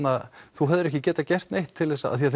þú hefðir ekki geta gert neitt til þess að af því